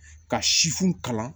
Ka sifu kalan